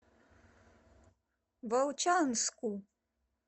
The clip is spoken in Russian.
волчанску